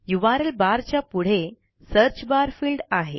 URL bar च्या पुढे search bar field आहे